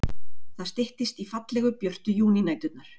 Það styttist í fallegu, björtu júnínæturnar.